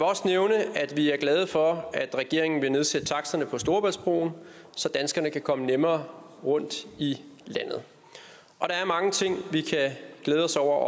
også nævne at vi er glade for at regeringen vil nedsætte taksterne på storebæltsbroen så danskerne kan komme nemmere rundt i landet der er mange ting vi kan glæde os over og